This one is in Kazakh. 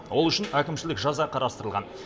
ол үшін әкімшілік жаза қарастырылған